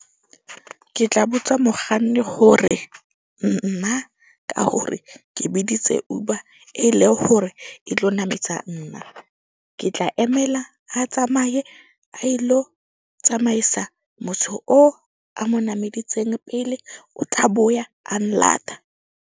Ke tla botsa mokganni hore nna ka hore ke biditse Uber e le hore e tlo nametsa nna. Ke tla emela a tsamaye a ilo tsamaisa motho o a mo nameditseng pele o tla boya a nlata.